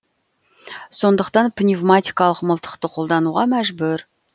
сондықтан пневматикалық мылтықты қолдануға мәжбүр